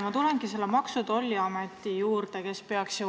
Ma tulengi Maksu- ja Tolliameti juurde, kes peaks direktiivi